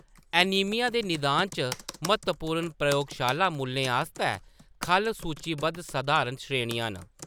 Anaemia दे निदान च महत्वपूर्ण प्रयोगशाला मूल्लें आस्तै खʼल्ल सूचीबद्ध सधारण श्रेणियाँ न।